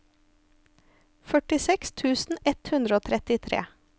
førtiseks tusen ett hundre og trettitre